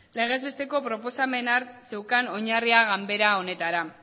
legez besteko proposamen hark zeukan oinarria ganbara honetara